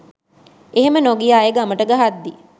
එහෙම නොගිය අය ගමට ගහද්දි